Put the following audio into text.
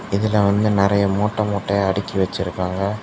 இதுல வந்து நெறியா மூட்ட மூட்டையா அடுக்கி வச்சிருக்காங்க.